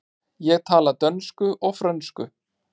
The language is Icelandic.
Ég tala dönsku og frönsku.